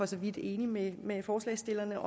så vidt enig med med forslagsstillerne